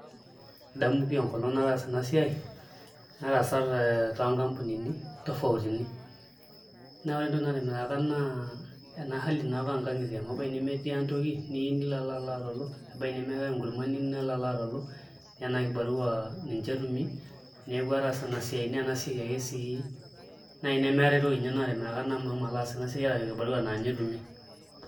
Adamu pii enkolong' nataasa ena siai, nataasa te toonkampunini tofautini neeku ore entoki naatimiraka naa ena hali naa apa oonkang'itie amu ebaiki nemetii ang' toki niyieu nilo alo atalu ebaiki nemeetai enkurma nilo alo atolu naa ena kibarua ninche etumi .Neeku ataasa enasiai naa ena siai ake sii naai nemeetai toki naatimiraka mashomo aas ena siai naa kibarua naa ninye etumi.